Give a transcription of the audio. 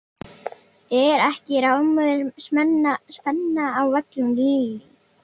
Er ekki rafmögnuð spenna á vellinum Lillý?